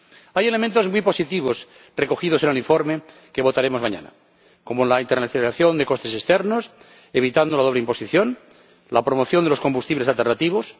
Hay elementos muy positivos recogidos en el informe que votaremos mañana, como la internalización de costes externos, evitando la doble imposición la promoción de los combustibles alternativos